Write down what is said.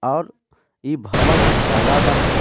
और इ भवन दुताल्ला बाहिं.